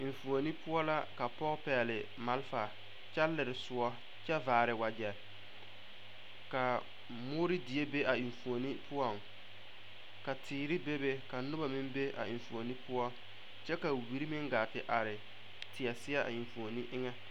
Eŋfuoni poɔ la ka pɔge pɛgle malfa kyɛ lere soɔ kyɛ vaare wagyɛ ka a moore die be a eŋfuoni poɔŋ ka teere bebe Ka noba meŋ be a eŋfuoni poɔ kyɛ Ka wiri meŋ gaa te are teɛ seɛ a eŋfuoni eŋɛ.